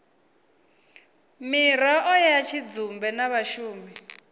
miraḓo ya tshidzumbe na vhashumi